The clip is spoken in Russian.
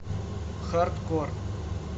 хардкор